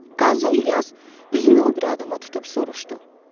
Qazi İlyas üzünü o biri adama tutub soruşdu.